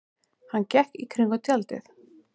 Hann gekk í kringum tjaldið.